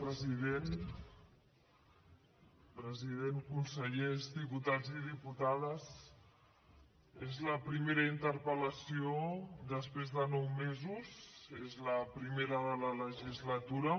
president consellers diputats i diputades és la primera interpel·lació després de nou mesos és la primera de la legislatura